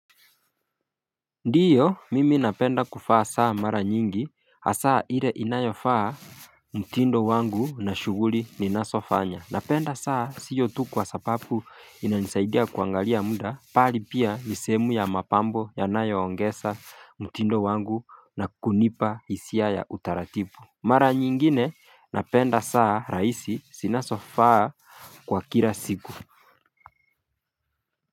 Ndiyo mimi napenda kuvaa saa mara nyingi hasa ile inayofaa mtindo wangu na shughuli ninazofanya napenda saa sio tu kwa sababu inanisaidia kuangalia muda bali pia ni sehemu ya mapambo yanayoongeza mtindo wangu na kunipa hisia ya utaratibu Mara nyingine napenda saa rahisi zinazofaa kwa kila siku.